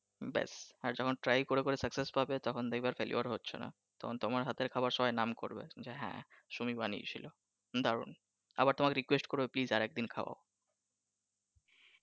ব্যাস আর যখন try করে করে scuccess পাবে তখন দেখবে আর failure হচ্ছো নাহ তখন তোমার হাতের খাবার সবাই নাম করবে হ্যাঁ সুমি বানিয়ে ছিলো দারুন । আবার তোমাকে request করবে আর একদিন খাওয়াও ।